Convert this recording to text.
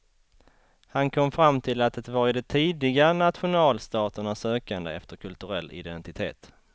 Han kom fram till att det var i de tidiga nationalstaternas sökande efter kulturell identitet.